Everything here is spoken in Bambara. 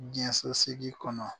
Diɲɛsosigi kɔnɔ